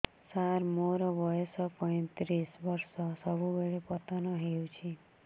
ସାର ମୋର ବୟସ ପୈତିରିଶ ବର୍ଷ ସବୁବେଳେ ପତନ ହେଉଛି